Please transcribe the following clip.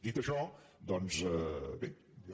dit això doncs bé jo